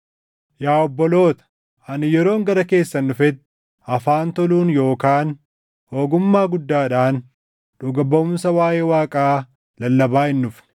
Yaa obboloota, ani yeroon gara keessan dhufetti, afaan toluun yookaan ogummaa guddaadhaan dhuga baʼumsa waaʼee Waaqaa lallabaa hin dhufne.